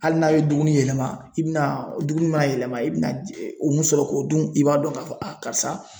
Hali n'a ye dumuni yɛlɛma i bɛna dumuni maa yɛlɛma i bɛna o mun sɔrɔ k'o dun i b'a dɔn k'a fɔ karisa